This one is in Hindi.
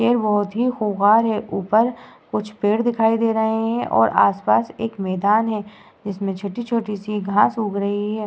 ये बहोत ही खूंखार है। ऊपर कुछ पेड़ दिखाई दे रहे हैं और आसपास एक मैंदान है जिसमें छोटी-छोटी सी घास उग रही है।